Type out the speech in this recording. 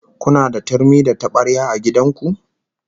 Kuna da turmi da tabarya a gidan ku?